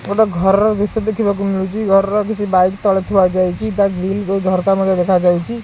ଗୋଟେ ଘର ର ଦୃଶ୍ୟ ଦେଖିବାକୁ ମିଳୁଛି ଘର ର କିଛି ବାଇକ ତଳେ ଥୁଆ ଯାଇଛି ତା ଗ୍ରିଲ ରୁ ଝରକା ମଧ୍ୟ ଦେଖାଯାଉଛି।